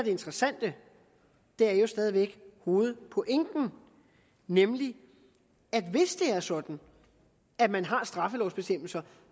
interessante er jo stadig væk hovedpointen nemlig at er sådan at man har straffelovsbestemmelser